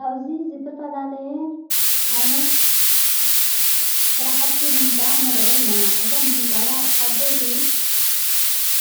ኣውዚ ዘተፈላለየ ዓይነት ሠራሕቲ ሕንፃ ነርአ ኣለና እቶም ሕንፃታት ዓበይቲ